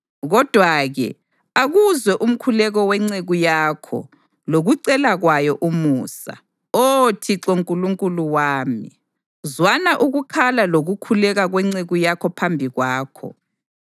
Kodwa-ke akuzwe umkhuleko wenceku yakho lokucela kwayo umusa, Oh Thixo Nkulunkulu wami. Zwana ukukhala lokukhuleka kwenceku yakho phambi kwakho.